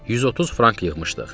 130 frank yığmışdıq.